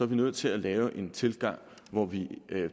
vi nødt til at lave en tilgang hvor vi